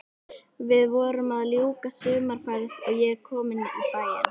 Við vorum að ljúka sumarferð og ég kominn í bæinn.